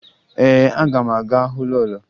Ee, aga m aga hụ lọọlọ